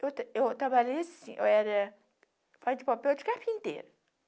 Eu trabalhasse, eu era... Faz de papel de carpinteiro.